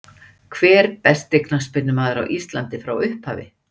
Hver besti knattspyrnumaður Íslands frá upphafi?